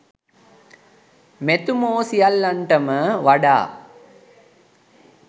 මෙතුමෝ සියල්ලන්ටම වඩා